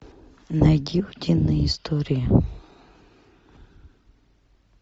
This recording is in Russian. найди утиные истории